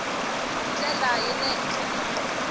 hi ndlela ya le henhlanyana